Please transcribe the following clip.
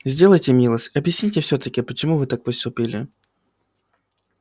сделайте милость объясните всё-таки почему вы так поступили